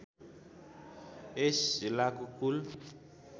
यस जिल्लाको कुल